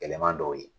Gɛlɛman dɔw ye